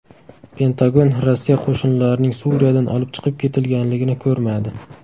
Pentagon Rossiya qo‘shinlarining Suriyadan olib chiqib ketilganligini ko‘rmadi.